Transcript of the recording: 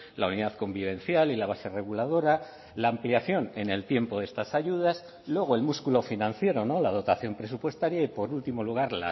la unidad convivencial y la base reguladora la ampliación en el tiempo de estas ayudas luego el músculo financiero la dotación presupuestaria y por último lugar